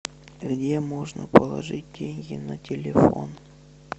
где можно положить деньги на телефон